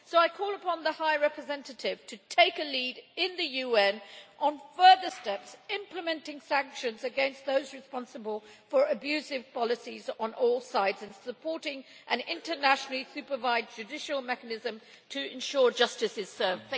I call upon the High Representative to take a lead in the UN on further steps implementing sanctions against those responsible for abusive policies on all sides and supporting an internationally-supervised judicial mechanism to ensure justice is served.